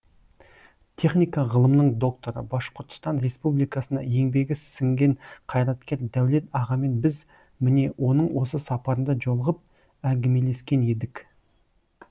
техника ғылымының докторы башқұртстан республикасына еңбегі сіңген қайраткер дәулет ағамен біз міне оның осы сапарында жолығып әңгімелескен едік